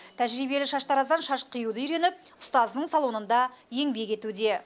тәжірибелі шаштараздан шаш қиюды үйреніп ұстазының салонында еңбек етуде